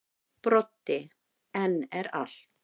Broddi: En er allt.